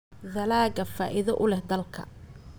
dalagga faa'iido u leh dalka.